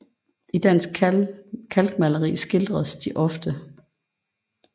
I dansk kalkmaleri skildres de ofte